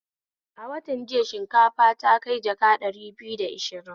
A wantan jiya shinkafa ta kai jaka ɗari biyu da ashirin